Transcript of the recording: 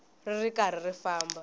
ri ri karhi ri famba